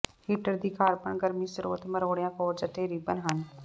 heater ਦੀ carbon ਗਰਮੀ ਸਰੋਤ ਮਰੋੜਿਆ ਕੋਰਡਜ਼ ਅਤੇ ਰਿਬਨ ਹਨ